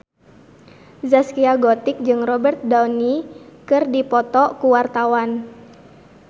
Zaskia Gotik jeung Robert Downey keur dipoto ku wartawan